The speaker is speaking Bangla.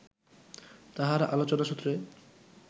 তাঁহার আলোচনা সূত্রে